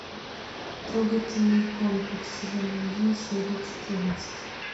трогательный комплекс сезон один серия четырнадцать